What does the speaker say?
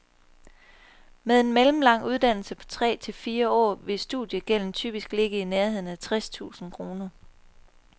Med en mellemlang uddannelse på tre til fire år vil studiegælden typisk ligge i nærheden af tres tusind kroner.